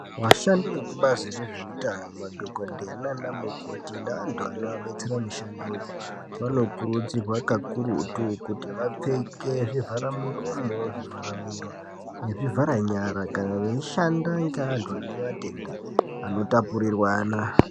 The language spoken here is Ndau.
Vashandi vekubazo rezveutano madhokodheya naana mukoti ne antu anovabetsera mishando yoo vanokurudzirwa kakururtu kuti vapfeke zvivahara muromo zvivhara mhiro nezvivhara nyara kana veyishanda nevanhu vane matenda anotapurirwana.